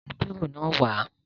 Mú bírò náà wà á!